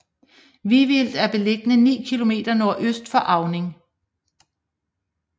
Vivild er beliggende ni kilometer nordøst for Auning